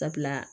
Sabula